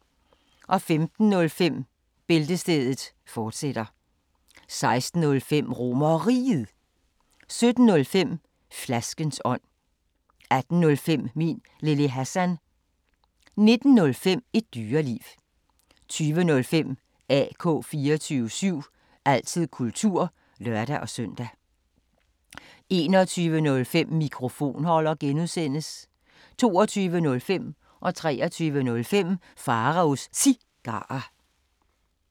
15:05: Bæltestedet, fortsat 16:05: RomerRiget 17:05: Flaskens ånd 18:05: Min Lille Hassan 19:05: Et Dyreliv 20:05: AK 24syv – altid kultur (lør-søn) 21:05: Mikrofonholder (G) 22:05: Pharaos Cigarer 23:05: Pharaos Cigarer